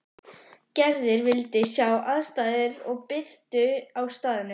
Gerður vildi sjá aðstæður og birtu á staðnum.